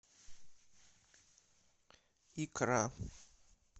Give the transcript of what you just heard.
икра